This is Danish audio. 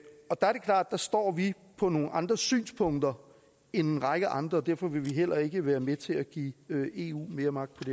der står vi for nogle andre synspunkter end en række andre og derfor vil vi heller ikke være med til at give eu mere magt